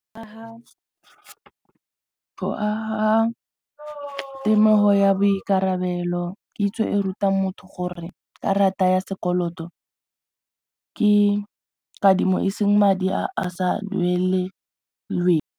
G aga temogo ya boikarabelo kitso e rutang motho gore karata ya sekoloto ke kadimo e seng madi a a sa duelelweng.